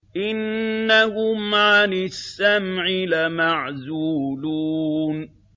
إِنَّهُمْ عَنِ السَّمْعِ لَمَعْزُولُونَ